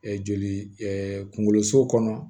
joli kungolo so kɔnɔ